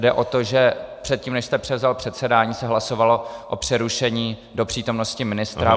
Jde o to, že předtím, než jste převzal předsedání, se hlasovalo o přerušení do přítomnosti ministra.